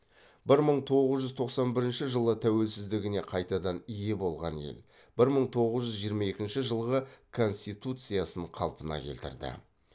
бір мың тоғыз жүз тоқсан бірінші жылы тәуелсіздігіне қайтадан ие болған ел бір мың тоғыз жүз жиырма екінші жылғы конституциясын қалпына келтірді